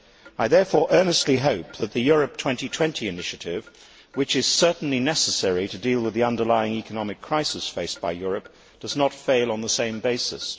I therefore earnestly hope that the Europe 2020 initiative, which is certainly necessary to deal with the underlying economic crisis faced by Europe, does not fail on the same basis.